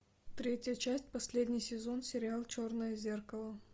третья часть последний сезон сериал черное зеркало